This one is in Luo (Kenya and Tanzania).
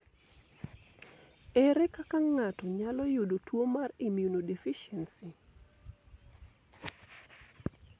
Ere kaka ng'ato nyalo yudo tuo mar immunodeficiency?